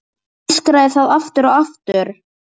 Öskraði það aftur og aftur.